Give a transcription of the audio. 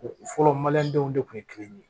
O fɔlɔ maliyɛndenw de kun ye kelen ye